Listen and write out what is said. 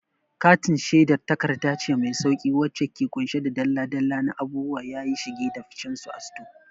Katin shedar takarda ce mai sauƙi wacce ke ƙunshe da dalla-dalla na abubuwa yayi shige da ficensu a sito.